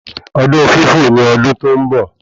Ọdún fífò ni ọdún tó ń bọ̀